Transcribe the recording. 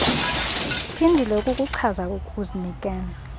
phindile ukukuchaza ukuzinikela